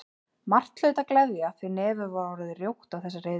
Margt hlaut að gleðja því nefið var orðið rjótt af þessari iðju.